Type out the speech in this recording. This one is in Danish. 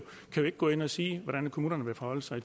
ikke gå ind og sige hvordan kommunerne vil forholde sig